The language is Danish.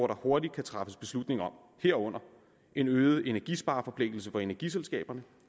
der hurtigt kan træffes beslutning om herunder øgede energispareforpligtelser for energiselskaberne